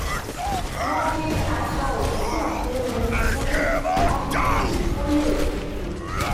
mo fi aṣọ òtútù kun un fún ọ́fíìsì tó le tutu